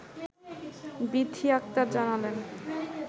বিথী আক্তার জানালেন